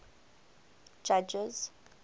judges